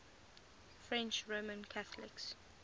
french roman catholics